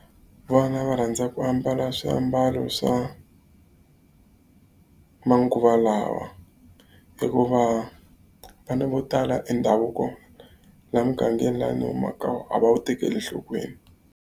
Vana va rhandza ku ambala swiambalo swa manguva lawa. Hikuva vana vo tala e ndhavuko laha mugangeni laha ni humaka ka wona a va wu tekeli enhlokweni.